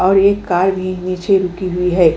और एक कार भी नीचे रुकी हुई है।